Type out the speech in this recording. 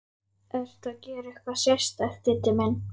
Ertu að gera eitthvað sérstakt, Diddi minn.